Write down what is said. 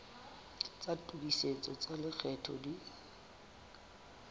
tsa tokisetso tsa lekgetho di